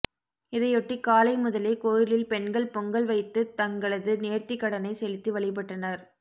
இதையொட்டி காலை முதலே கோயிலில் பெண்கள் பொங்கல் வைத்து தங்களது நேர்த்தி கடனை செலுத்தி வழிபட்டனர்